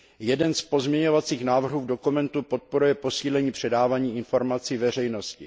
Jeden z pozměňovacích návrhů v dokumentu podporuje posílení předávání informací veřejnosti.